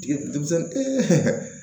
Jigi denmisɛnwmi ee